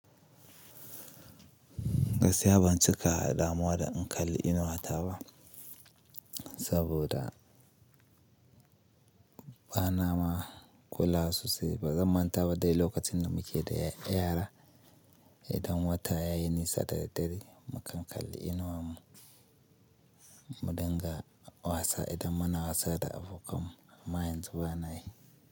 Gaskiya ban cika damuwa da in kalli inuwa ta ba, saboda ba na ma kula sosai. Ba zan manta ba dai lokacin da muke da yara, idan wata ya yi nisa da daddare mu kan kalli inuwan mu, mu dinga wasa idan muna wasa da abokan mu, amma yanzu bana yi.